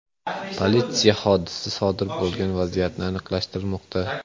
Politsiya hodisa sodir bo‘lgan vaziyatni aniqlashtirmoqda.